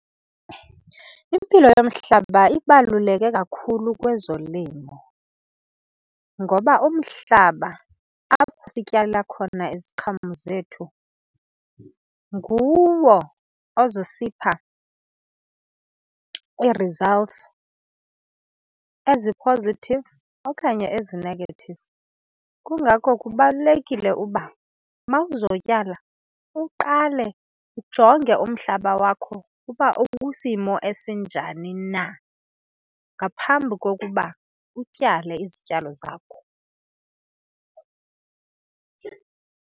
Impilo yomhlaba ibaluleke kakhulu kwezolimo. Ngoba umhlaba apho sityala khona iziqhamo zethu nguwo ozosipha ii-results ezi-positive okanye ezi-negative. Kungako kubalulekile uba uma uzotyala uqale ujonge umhlaba wakho uba ukwisimo esinjani na ngaphambi kokuba utyale izityalo zakho.